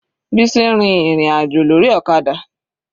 Bisi rin ìrìn àjò lórí ọ̀kadà.